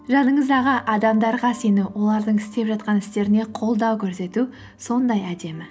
жаныңыздағы адамдарға сену олардың істеп жатқан істеріне қолдау көрсету сондай әдемі